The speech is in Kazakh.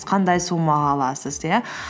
қандай суммаға аласыз иә